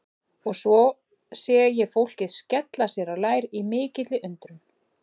Og svo sé ég fólkið skella sér á lær í mikilli undrun.